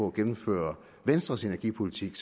at gennemføre venstres energipolitik